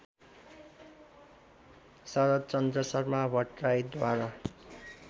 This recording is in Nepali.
शरद्चन्द्र शर्मा भट्टराईद्वारा